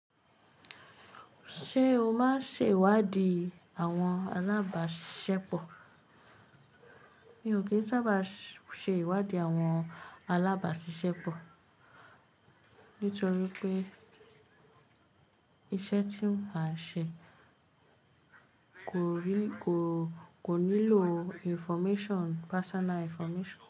Ṣé o máa ń ṣe ìwádìí àwọn alábàáṣisẹ́pọ̀? Mi ò kí ń sábà ṣe ìwádìí àwọn alábàáṣisẹ́pọ̀ nítorí pé iṣẹ́ tí mò ń ṣe kò nílò information, personal information.